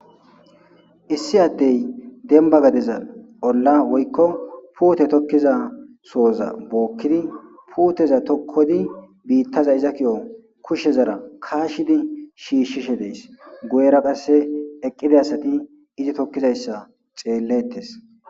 issi addey denba gadeza olla woykko puute tokkiza sooza bookkidi puuteza tokkodi biittaza iza ki7o kushe zara kaashidi shiishshishe dees goyera qasse eqqida asati izi tokkizayssa xeellettes